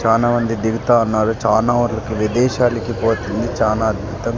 చానా మంది దిగుతా ఉన్నారు చానా వాట్లకి విదేశాలకి పోతుంది చానా అద్భుతం --